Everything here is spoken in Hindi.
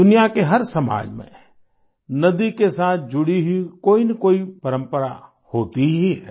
दुनिया के हर समाज में नदी के साथ जुड़ी हुई कोईनकोई परम्परा होती ही है